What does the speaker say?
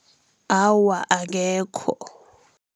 Awa, akekho.